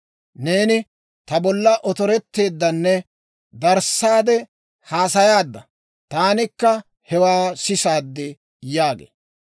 Neeni ta bolla otorettaaddanne darissaade haasayaadda; taanikka hewaa sisaad» yaagee.